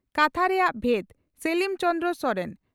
ᱠᱟᱛᱷᱟ ᱨᱮᱭᱟᱜ ᱵᱷᱮᱫᱽ (ᱥᱮᱞᱤᱢ ᱪᱚᱱᱫᱨᱚ ᱥᱚᱨᱮᱱ)